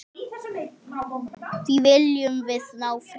Því viljum við ná fram.